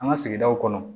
An ka sigidaw kɔnɔ